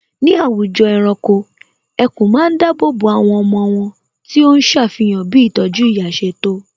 Ní àwùjọ àwọn ẹranko, ẹkùn ma ń dáàbò bo àwọn ọmọ wón tí óhún ṣàfihàn bí ìtọ́jú ìyá ṣe tó